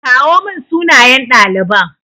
kawo mun sunayen ɗaliban.